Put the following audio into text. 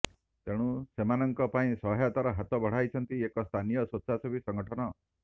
ତେଣୁ ସେମାନଙ୍କ ପାଇଁ ସହାୟତାର ହାତ ବଢ଼ାଇଛନ୍ତି ଏକ ସ୍ଥାନୀୟ ସ୍ୱେଚ୍ଛାସେବୀ ସଂଗଠନ